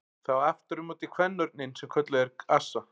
Það á aftur á móti kvenörninn sem kölluð er assa.